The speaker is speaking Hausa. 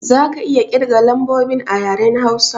Za ka iya kirga lambobi a yaren Hausa?